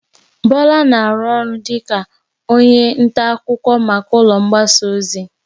Bola na-arụ ọrụ dịka onye nta akụkọ maka ụlọ mgbasa ozi.